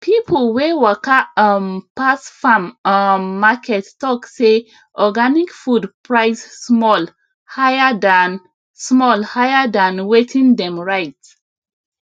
people wey waka um pass farm um market talk say organic food price small higher than small higher than wetin dem write